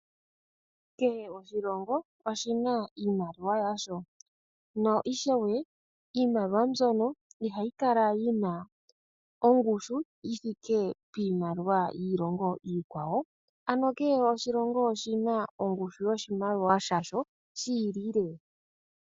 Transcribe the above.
Kehe oshilongo oshina iimaliwa yasho, na ishewe iimaliwa mbyono ihayi Kala yina ongushu yithike piimaliwa yiilongo iikwawo, ano kehe oshilongo oshina ongushu yoshimaliwa sha sho shi ili.